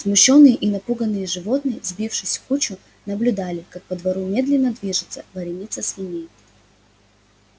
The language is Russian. смущённые и напуганные животные сбившись в кучу наблюдали как по двору медленно движется вереница свиней